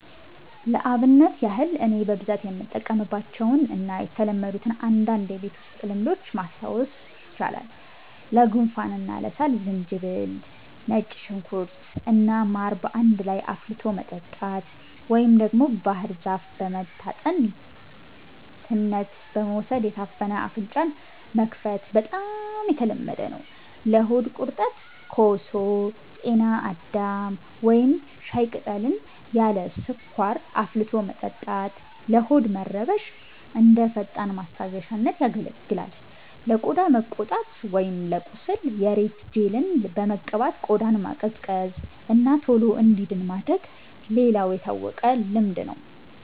ለአብነት ያህል እኔ በብዛት የምጠቀምባቸውን እና የተለመዱትን አንዳንድ የቤት ውስጥ ልምዶች ማስታወስ ይቻላል፦ ለጉንፋን እና ለሳል፦ ዝንጅብል፣ ነጭ ሽንኩርት እና ማር በአንድ ላይ አፍልቶ መጠጣት፣ ወይም ደግሞ ባህር ዛፍ በመታጠን ትነት በመውሰድ የታፈነ አፍንጫን መክፈት በጣም የተለመደ ነው። ለሆድ ቁርጠት፦ ኮሶ፣ ጤና አዳም ወይም ሻይ ቅጠልን ያለ ስኳር አፍልቶ መጠጣት ለሆድ መረበሽ እንደ ፈጣን ማስታገሻነት ያገለግላል። ለቆዳ መቆጣት ወይም ለቁስል፦ የሬት ጄልን በመቀባት ቆዳን ማቀዝቀዝ እና ቶሎ እንዲድን ማድረግ ሌላው የታወቀ ልምድ ነው።